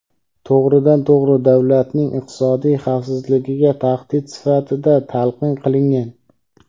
to‘g‘ridan-to‘g‘ri davlatning iqtisodiy xavfsizligiga tahdid sifatida talqin qilingan.